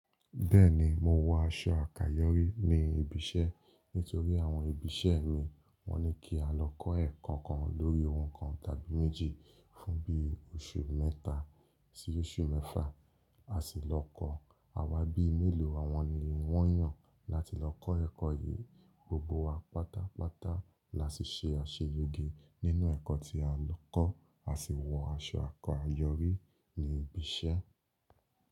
Bẹ́ẹ̀ni, mo wọ aṣọ àkáyọrí ní ibi iṣẹ́ nítorí àwọn ibi iṣẹ́ mi wọ́n ní kí a lọ kọ́ ẹ̀kọ́ kan lórí ohun kan tàbí méjì fún bíi oṣù mẹ́ta sí oṣù mẹ́fà, a sì lọ kọ́. Awà bíi mélòó awọn ni wọ́n yàn láti lọ kọ́ ẹ̀kọ́ yìí, gbogbo wa pátápátá la sì ṣe àṣeyege nínú ẹ̀kọ́ tí a lọ kọ́ a sì wọ aṣọ àkayọ́rí ní ibi iṣẹ́